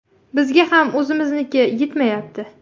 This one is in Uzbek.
Bizga ham o‘zimizniki yetmayapti.